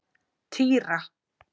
Týra